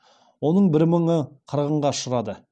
оның бір мыңы қырғынға ұшырады